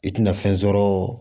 I tina fɛn sɔrɔ o